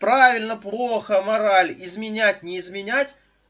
правильно плохо мораль изменять не изменять